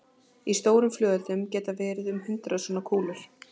Í stórum flugeldum geta verið um hundrað svona kúlur.